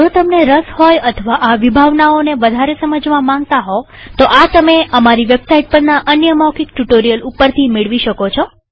જો તમને રસ હોય અથવા આ વિભાવનાઓને વધારે સમજવા માંગતા હોવ તો આ તમે અમારી વેબસાઈટ પરના અન્ય મૌખિક ટ્યુ્ટોરીઅલ ઉપરથી મેળવી શકો છો